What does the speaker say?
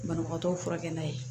Banabagatɔw furakɛ